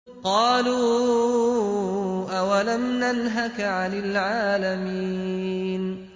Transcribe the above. قَالُوا أَوَلَمْ نَنْهَكَ عَنِ الْعَالَمِينَ